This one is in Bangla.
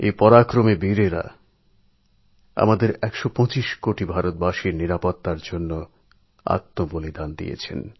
এই সাহসী বীরেরা আমাদের একশো কোটি ভারতবাসীকে রক্ষা করতে আত্মবলিদান করেছেন